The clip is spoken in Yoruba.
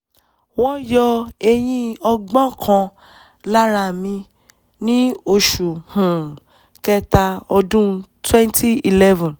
wọ́n yọ eyín ọgbọ́n kan lára mi ní oṣù um kẹ́ta ọdún twenty eleven